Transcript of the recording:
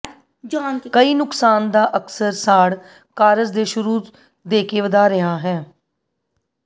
ਕਈ ਨੁਕਸਾਨ ਦਾ ਅਕਸਰ ਸਾੜ ਕਾਰਜ ਦੇ ਸ਼ੁਰੂ ਦੇ ਕੇ ਵਧਾ ਰਿਹਾ ਹੈ